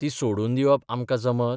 ती सोडून दिवप आमकां जमत?